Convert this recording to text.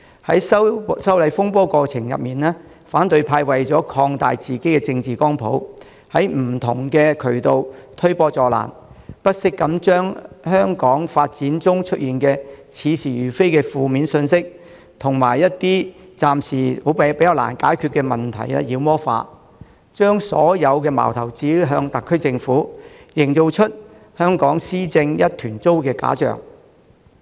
在修例風波的過程中，反對派為了擴大自己的政治光譜，在不同渠道推波助瀾，不惜將關於香港現況的似是而非的負面信息，以及暫時難以解決的問題妖魔化，將所有矛頭指向特區政府，營造出香港施政一團糟的假象。